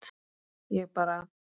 Ég bara